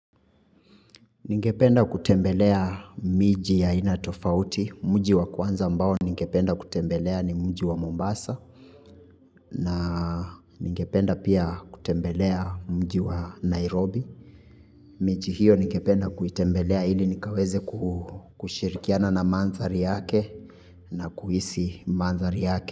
Ningependa kutembelea miji ya aina tofauti, mji wa kwanza ambao ningependa kutembelea ni mji wa Mombasa, na ningependa pia kutembelea mji wa Nairobi. Miji hiyo ningependa kuitembelea ili nikaweze kushirikiana na mandhari yake na kuhisi mandhari yake.